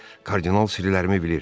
Kardinal sirlərimi bilir.